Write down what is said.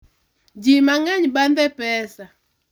ji mang'eny bandhe pesa